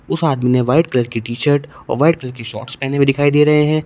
उस आदमी ने व्हाइट कलर की टी शर्ट और वाइट कलर के शॉर्ट्स पहने हुए दिखाई दे रहे हैं।